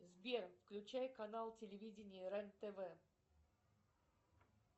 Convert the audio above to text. сбер включай канал телевидения рен тв